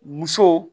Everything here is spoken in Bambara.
Muso